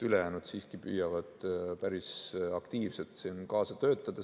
Ülejäänud siiski püüavad päris aktiivselt kaasa töötada.